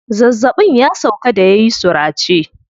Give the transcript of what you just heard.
Zazzaɓin ya sauƙa da yayi surace.